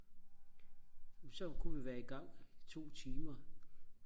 så kunne vi være igang to timer